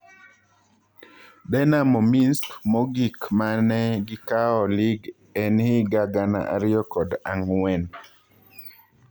Dinamo Minsk mogik mane gikao lig en higa gana ariyo kod ang'wen.